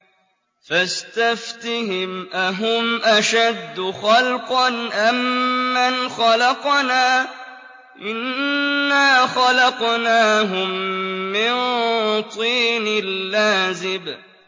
فَاسْتَفْتِهِمْ أَهُمْ أَشَدُّ خَلْقًا أَم مَّنْ خَلَقْنَا ۚ إِنَّا خَلَقْنَاهُم مِّن طِينٍ لَّازِبٍ